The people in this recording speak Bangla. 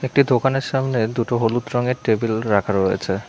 একটি দোকানের সামনে দুটো হলুদ রঙের টেবিল রাখা রয়েছে।